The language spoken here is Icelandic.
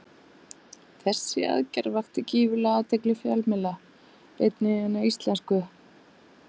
Þessi aðgerð vakti gífurlega athygli fjölmiðla, einnig hinna íslensku.